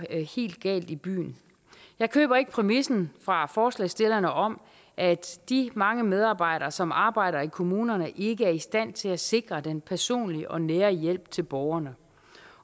helt galt i byen jeg køber ikke præmissen fra forslagsstillerne om at de mange medarbejdere som arbejder i kommunerne ikke er i stand til at sikre den personlige og nære hjælp til borgerne